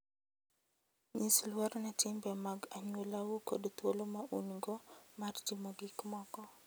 Nyis luor ne timbe mag anyuolau kod thuolo ma un-go mar timo gik moko.